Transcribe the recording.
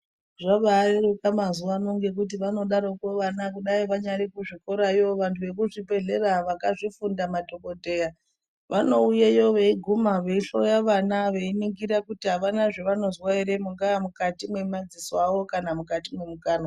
Zvabareruka mazuwano ngekuti vanodarokwo vana kudai vanyari kuzvikorayo vanhu vemuzvibhehlera vakazvifunda madhokodheya vanouyeyo veiguma veihloya vana veiningira kuti avana zvavanozwa ere mungaa mukati mwemadziso awo kana mukati mwemukanwa.